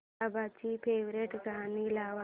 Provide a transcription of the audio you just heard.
बाबांची फेवरिट गाणी लाव